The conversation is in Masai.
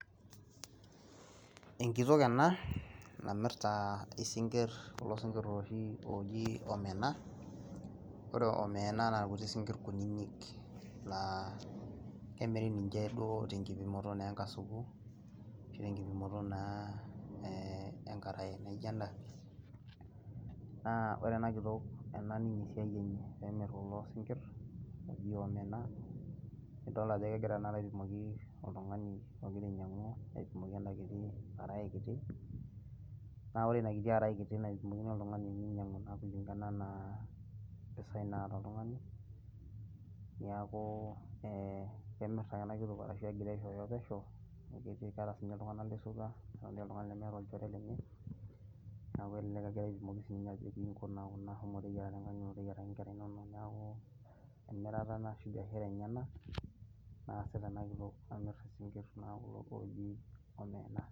enkitok ena naimirta isinkir, kulo sinkir ooji omena,.orre omena naa ilkuti sinkir kunyinyik. laa kemiri ninche duoo tenkipimoto naa enkasuku, ashu tenkipimoto naa enkarae naijo ena. naa ore ena kitok ena ninye esiai enye, nemir kulo sinkir ooji omena idol ajo kegira tenakata aipimoki oltungani ogira ainyiangu aipimoki enakiti arae kiti. naa ore ina kiti arae naipimokini oltungani kiti ninyiangu na kulingana anaa mpisai naata oltungani, niaku kemir naa ena kitok arashu egira aisooyo pesho. amu keeeta naa iltunganak lesotua, amu meeta oltungani lemeta olchore lenye. naa kelelk egira aipimoki sii ninye ajoki iji shomo nkuna teyiaraki nkera inono. neeku emirata ena ashu biashara enyenak naasita ena kitoka amir kulo tokitin ooji omena.